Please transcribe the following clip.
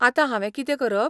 आतां हांवें कितें करप?